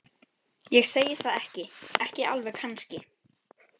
Ég segi það ekki. ekki alveg kannski.